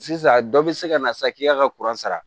Sisan a dɔ bɛ se ka na sa k'i y'a ka sara